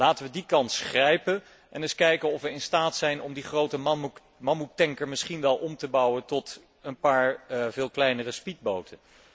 Laten we die kans grijpen en eens kijken of we in staat zijn om die grote mammoettanker misschien wel om te bouwen tot een paar veel kleinere speedboten.